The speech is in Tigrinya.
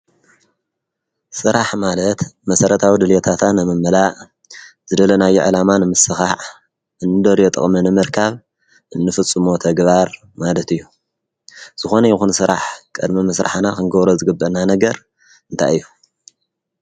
ሥራሕ ማለት መሠረታዊ ድሌታታን መምላእ ዘደለናይ ዕላማን ምስኻዕ እንደርየ ጥቕሚንምርካብ እንፍጹ ሞተግባር ማለት እዩ ዝኾነ ይኹን ሥራሕ ቀድሚ ምሥራሓና ኽንገብረ ዝግብአና ነገር እንታይእሁ